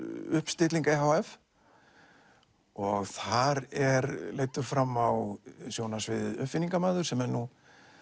uppstilling e h f þar er leiddur fram á sjónarsviðið uppfinningamaður sem er nú